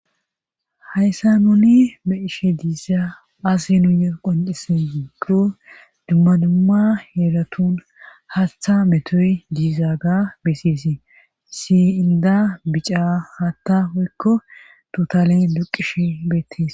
Hayssa nuni meishe diisa asi nuuye qoncisen diiggo dumma dumma heelatun haastha metoy diiza ga beseesi si inda bicaa haatta hoykko tutalen duqishe beettes.